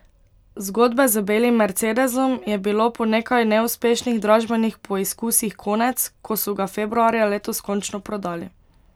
Zgodbe z belim mercedesom je bilo po nekaj neuspešnih dražbenih poizkusih konec, ko so ga februarja letos končno prodali.